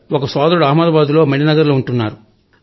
ఒక సోదరుడు అహ్మదాబాద్ లో మణినగర్ లో ఉంటారు